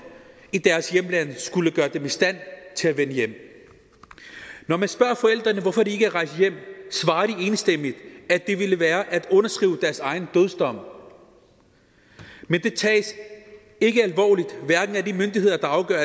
i deres hjemland skulle gøre dem i stand til at vende hjem når man spørger forældrene hvorfor de ikke er rejst hjem svarer de enstemmigt at det ville være at underskrive deres egen dødsdom men det tages ikke alvorligt hverken af de myndigheder der afgør